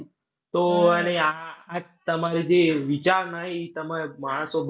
તો આ તમારા જે વિચારના હે ઈ તમારે માણસો